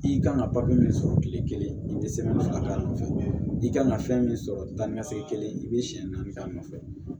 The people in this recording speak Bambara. I kan ka papiye min sɔrɔ tile kelen i bɛ sɔrɔ k'a nɔfɛ i ka kan ka fɛn min sɔrɔ tan ni ka segin kelen i bɛ siɲɛ naani k'a nɔfɛ